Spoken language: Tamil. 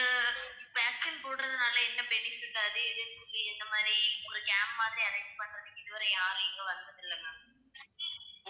அஹ் vaccine போடுறதுனால என்ன benefit அது இதுன்னு சொல்லி இந்த மாதிரி ஒரு camp மாதிரி arrange பண்றதுக்கு இதுவரை யாரும் இங்க வந்ததில்லை ma'am